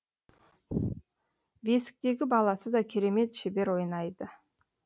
бесіктегі баласы да керемет шебер ойнайды